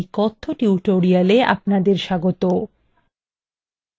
libreoffice base এর এই কথ্য tutorial আপনাদের স্বাগত